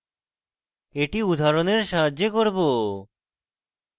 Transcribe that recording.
এটি উদাহরণের সাহায্যে করব